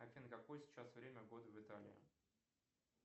афина какое сейчас время года в италии